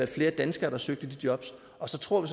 flere danskere der søgte de jobs og så tror